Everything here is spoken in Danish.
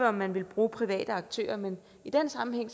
om man ville bruge private aktører men i den sammenhæng